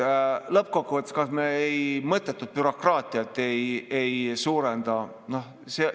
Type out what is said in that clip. Lõppkokkuvõttes, kas me mõttetult bürokraatiat ei suurenda?